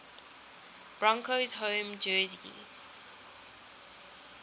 broncos home jersey